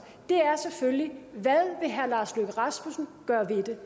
er selvfølgelig hvad vil herre lars løkke rasmussen gøre ved det